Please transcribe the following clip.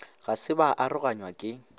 ga se ba aroganywa ke